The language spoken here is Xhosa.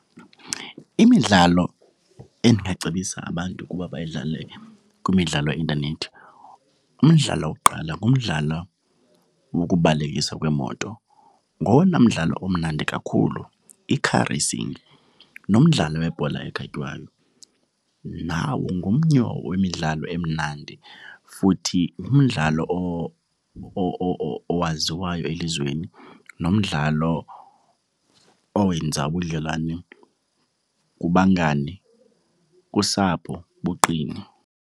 Imidlalo endingacebisa abantu ukuba bayidlale kwimidlalo yeintanethi, umdlalo wokuqala ngumdlalo wokubalekisa kweemoto. Ngowona mdlalo omnandi kakhulu, i-car racing. Nomdlalo webhola ekhatywayo, nawo ngomnye wemidlalo emnandi futhi ngumdlalo owaziwayo elizweni nomdlalo owenza ubudlelwane kubangani, kusapho buqine.